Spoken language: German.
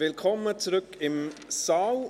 Willkommen zurück im Saal.